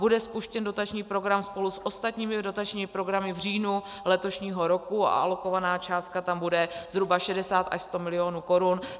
Bude spuštěn dotační program spolu s ostatními dotačními programy v říjnu letošního roku a alokovaná částka tam bude zhruba 60 až 100 milionů korun.